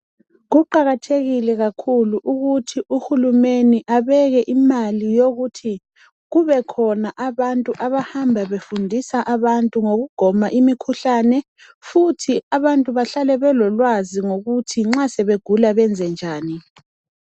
Kuqakathekile kakhulu ukuthi uhulumende abeke imali yokuthi kubekhona abantu abahamba befundisa abantu ngokugwema imikhuhlane futhi abantu bahlale belolwazi ngokuthi nxa sebegula benzenjani.